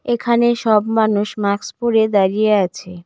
এখানে সব মানুষ মাকস পড়ে দাঁড়িয়ে আছে।